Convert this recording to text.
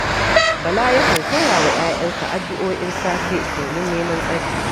Bala yakan koya wa ‘ya’yansa addu’o’in safe domin neman tsari